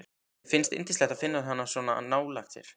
Henni finnst yndislegt að finna hann svona nálægt sér.